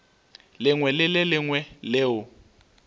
lengwe le le lengwe leo